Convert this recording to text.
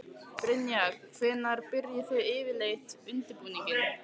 Brynja: Hvenær byrjið þið yfirleitt undirbúninginn?